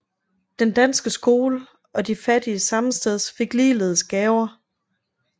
Den danske Skole og de fattige sammesteds fik ligeledes gaver